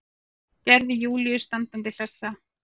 Gerði Júlíu standandi hlessa.